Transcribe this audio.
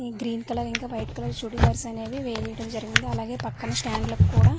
green colour ఇంకా white colour churidars అనేవి వేయటం జరిగింది అలాగే పక్కన స్టాండ్ లాకుండా--